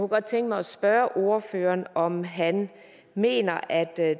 godt tænke mig at spørge ordføreren om han mener